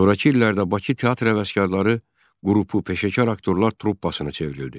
Sonrakı illərdə Bakı Teatr həvəskarları qrupu peşəkar aktyorlar truppasına çevrildi.